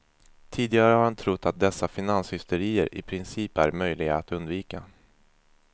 Tidigare har han trott att dessa finanshysterier i princip är möjliga att undvika.